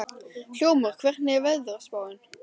Hljómur, hvernig er veðurspáin?